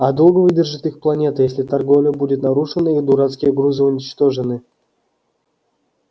а долго выдержит их планета если торговля будет нарушена и дурацкие грузы уничтожены